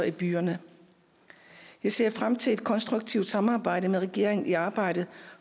i byerne jeg ser frem til et konstruktivt samarbejde med regeringen i arbejdet